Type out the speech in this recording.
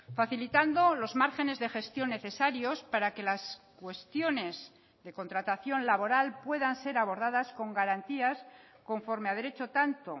facilitando los márgenes de gestión necesarios para que las cuestiones de contratación laboral puedan ser abordadas con garantías conforme a derecho tanto